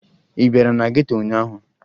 Ị bịara na geto ụnyaahụ?